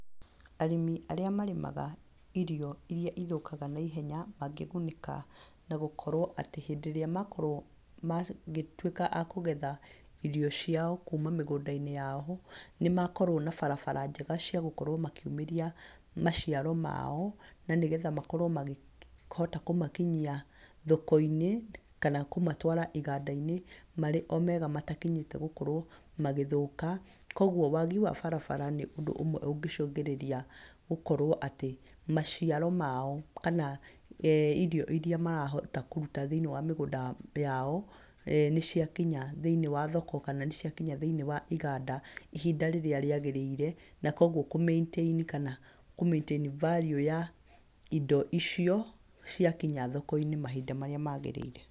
Arĩmi arĩa marĩmaga irio iria ithũkaga na ihenya mangĩgunĩka na gũkorwo atĩ hĩndĩ ĩrĩa makorwo magĩtuĩka a kũgetha irio ciao kuma mĩgũnda-inĩ yao nĩ makorwo na barabara njega cia gũkorwo makiumĩria maciaro mao na nĩ getha makorwo makĩhota kũmakinyia thoko-inĩ kana kũmatwara iganda-inĩ marĩ mega matakinyĩte gũkorwo magĩthũka. Kũoguo wagi wa barabara nĩ ũndũ ũmwe ũngĩcũngĩrĩria gũkorwo atĩ maciaro mao kana ee irio iria marahota gũkorwo makĩruta thĩiniĩ wa mĩgũnda yao ee nĩ cia kinya thĩiniĩ wa thoko kana nĩ cia kinya thĩiniĩ wa iganda ihinda rĩrĩa rĩagĩrĩire na kũoguo kũmĩintaini kana kũmaitaini value ya indo icio cia kinya thoko-inĩ mahinda marĩa magĩrĩire.